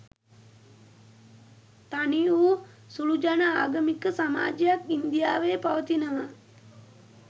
තනිවු සුළුජන ආගමික සමාජයක් ඉන්දියාවේ පවතිනවා